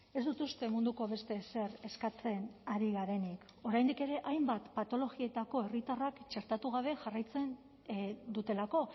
ez dut uste munduko beste ezer eskatzen ari garenik oraindik ere hainbat patologietako herritarrak txertatu gabe jarraitzen dutelako